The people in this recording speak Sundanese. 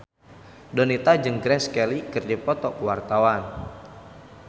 Donita jeung Grace Kelly keur dipoto ku wartawan